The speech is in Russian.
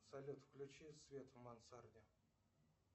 салют включи свет в мансарде